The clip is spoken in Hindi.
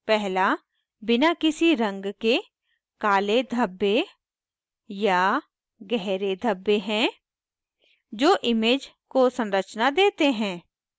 पहला बिना किसी रंग के काले धब्बे या गहरे धब्बे हैं जो image को संरचना देते हैं